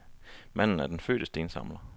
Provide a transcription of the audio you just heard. Manden er den fødte stensamler.